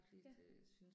Ja